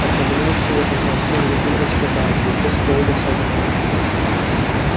ассамблея всегда кончалась пением гимна скотта англии после полудня все отдыхали